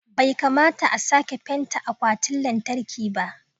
bai kamata a sake fenta akwatin lantarki ba